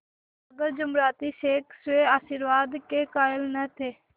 मगर जुमराती शेख स्वयं आशीर्वाद के कायल न थे